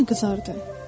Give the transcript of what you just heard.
Yenə qızardı.